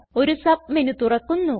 ഒരു സബ്മെന് തുറക്കുന്നു